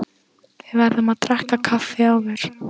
Við verðum að drekka kaffi áður.